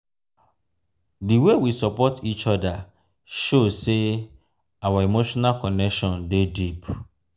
di way we support each other show say our emotional connection dey deep.